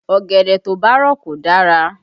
Ọ̀gẹ̀dẹ̀ tó bá rọ̀ kò dára